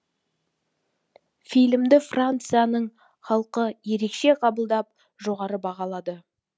фильмді францияның халқы ерекше қабылдап жоғары бағалады